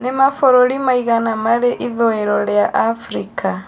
nĩ mabũrũri maigana Mari ĩthũiro rĩa Africa